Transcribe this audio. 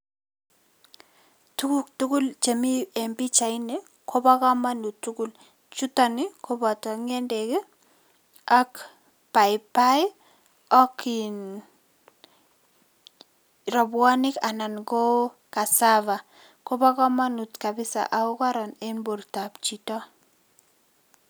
Tukuk tugul che mi eng pichaini ko bo kamanut tugul, chuton ii, koboto ngendek ii ak paipai ak in rabuonik anan ko cassava kobo kamanut kabisa ak ko koron eng bortab chito.